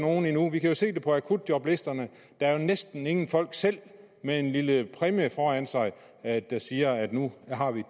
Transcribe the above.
vi kan jo se det på akutjoblisterne der er jo næsten ingen folk selv med en lille præmie foran sig der siger nu har vi